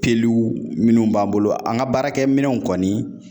Peluw minnu b'an bolo ,an ka baarakɛminɛnw kɔni